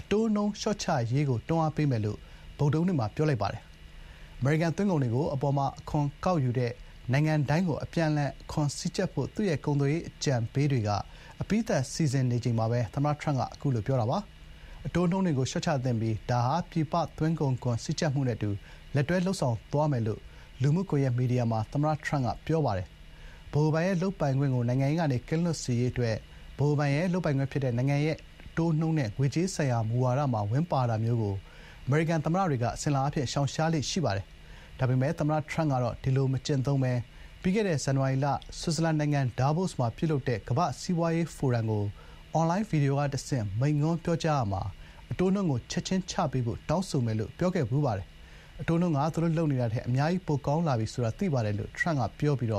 အတိုးနှုန်း လျှော့ချရေးကို တွန်းအားပေးမယ်လို့ ဗုဒ္ဓဟူးနေ့မှာ ပြောဆိုလိုက်ပါတယ်။ အမေရိကန် သွင်းကုန်တွေကို အပေါ်မှာ အခွန်ကောက်ယူတဲ့ နိုင်ငံတိုင်းကို အပြန်အလှန် အခွန်စည်းကြပ်ဖို့ သူ့ရဲ့ ကုန်သွယ်ရေး အကြံပေးတွေက အပြီးသတ် စီစဉ်နေချိန်မှာပဲ သမ္မတ Trump က အခုလို ပြောခဲ့တာပါ။ “အတိုးနှုန်းတွေကို လျှော့ချသင့်ပြီး ဒါဟာ ပြည်ပ သွင်းကုန်ခွန် စည်းကြပ်မှုနဲ့အတူ လက်တွဲလုပ်ဆောင်သွားမယ်” လို့ လူမှုကွန်ရက် မီဒီယာမှာ သမ္မတ Trump က ပြောဆိုထားပါတယ်။ ဗဟိုဘဏ်ရဲ့ လုပ်ပိုင်ခွင့်ကို နိုင်ငံရေးကနေ ကင်းလွတ်စေရေး အတွက် ဗဟိုဘဏ်ရဲ့ လုပ်ပိုင်ခွင့် ဖြစ်တဲ့ နိုင်ငံရဲ့ အတိုးနှုန်းနဲ့ ငွေကြေးဆိုင်ရာမူဝါဒမှာ ဝင်ပါတာမျိုးကို အမေရိကန် သမ္မတတွေက အစဉ်အလာအားဖြင့် ရှောင်ရှားကြပါတယ်။ ဒါပေမယ့် သမ္မတ ထရမ့်ကတော့ ဒီလို မကျင့်သုံးဘဲ ပြီးခဲ့တဲ့ ဇန်နဝါရီလ ဆွစ်ဇာလန်နိုင်ငံ ဒါဗို့စ်မှာ ပြုလုပ်တဲ့ ကမ္ဘာ့စီးပွားရေးဖိုရမ်ကို အွန်လိုင်း ဗီဒီယိုကတဆင့် မိန့်ခွန်းပြောရာမှာ “အတိုးနှုန်းကို ချက်ချင်းချပေးဖို့ တောင်းဆိုမယ်” လို့ ပြောခဲ့ပါတယ်။ “အတိုးနှုန်းက သူတို့လုပ်နေတာထက် အများကြီး ပိုကောင်းလာပြီ ဆိုတာ သိပါတယ်” လို့ ထရမ့် က ပြောပြီး ဗ